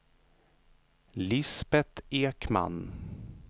Lisbeth Ekman